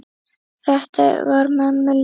Þetta var mömmu líkt.